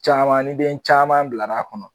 Caman ni den caman bila la kɔnɔ.